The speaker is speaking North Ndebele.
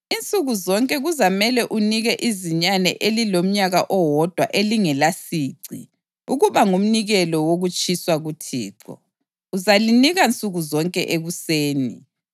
Insuku zonke kuzamele unike izinyane elilomnyaka owodwa elingelasici ukuba ngumnikelo wokutshiswa kuThixo; uzalinika nsuku zonke ekuseni.